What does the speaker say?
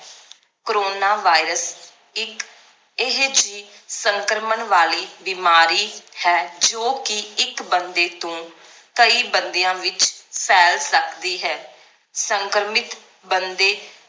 coronavirus ਇਕ ਇਹ ਜੀ ਸੰਕ੍ਰਮਣ ਵਾਲੀ ਬਿਮਾਰੀ ਹੈ ਜੋ ਕਿ ਇੱਕ ਬੰਦੇ ਤੋਂ ਕਈ ਬੰਦਿਆਂ ਵਿਚ ਫੈਲ ਸਕਦੀ ਹੈ ਸੰਕ੍ਰਮਿਤ ਬੰਦੇ